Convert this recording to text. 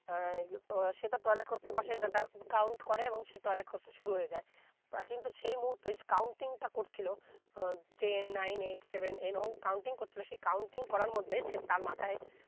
আহ তো সেটা toilet করতে বসে তা count করে এবং সে toilet করতে শুরু হয়ে যায় প্রা কিন্তু সেই মুহুতে counting টা করছেলো ah ten nine eight seven এই রকম counting করছিলো সে counting করার মধ্যে সে তার মাথায়